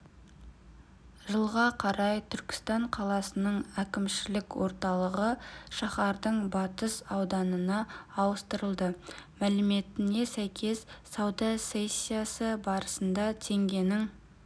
жылға қарай түркістан қаласының әкімшілік орталығы шаһардың батыс ауданына ауыстырылады мәліметіне сәйкес сауда сессиясы барысында теңгенің